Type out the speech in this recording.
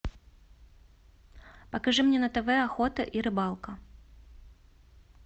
покажи мне на тв охота и рыбалка